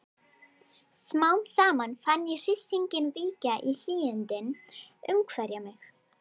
Smám saman fann ég hryssinginn víkja og hlýindin umvefja mig.